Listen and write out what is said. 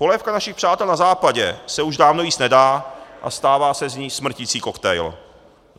Polévka našich přátel na západě se už dávno jíst nedá a stává se z ní smrticí koktejl.